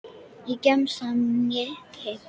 Hvorki í gemsann né heima.